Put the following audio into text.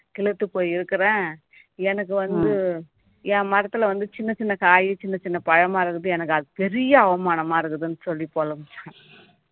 சிலிர்த்து போய் இருக்கிறேன் எனக்கு வந்து என் மரத்துல வந்து சின்னச் சின்ன காய் சின்னச் சின்ன பழமா இருக்குது எனக்கு அது பெரிய அவமானமா இருக்குதுன்னு சொல்லி புலம்பிச்சாம்